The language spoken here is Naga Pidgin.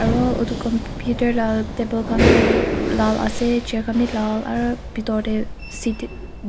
aru etu computer laga table khan tu lal ase chair khan bhi lal aru bethor te seat